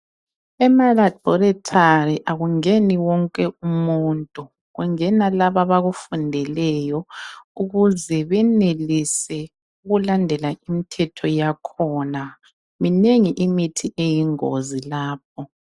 Emalaboratory akungeni wonke umuntu kungena labo abakufundeleyo ukuze benelise ukulandela imithetho yakhona minengi imithi eyingozi lapho.